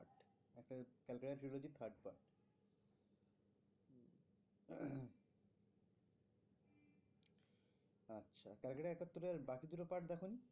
আচ্ছা calcutta একাত্তর এর আর বাকি দুটো part দেখোনি?